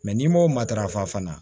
Mɛ n'i m'o matarafa fana